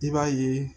I b'a ye